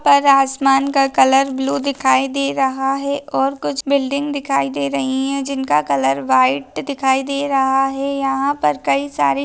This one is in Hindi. ऊपर आसमान का कलर ब्ल्यु दिखाई दे रहा है और कुछ बिल्डिंग दिखाई दे रही है जिनका कलर व्हाइट दिखाई दे रहा है यहाँ पर काही सारे--